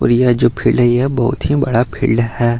और यह जो फील्ड है यह बहुत ही बड़ा फील्ड है।